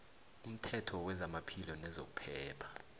umthetho wezamaphilo nezokuphepha